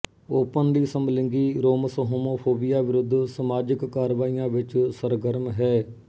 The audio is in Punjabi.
ਓਪਨਲੀ ਸਮਲਿੰਗੀ ਰੋਮਸ ਹੋਮੋਫੋਬੀਆ ਵਿਰੁੱਧ ਸਮਾਜਿਕ ਕਾਰਵਾਈਆਂ ਵਿੱਚ ਸਰਗਰਮ ਹੈ